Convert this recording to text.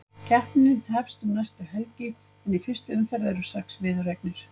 Keppnin hefst um næstu helgi en í fyrstu umferð eru sex viðureignir.